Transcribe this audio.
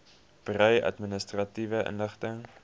berei administratiewe inligting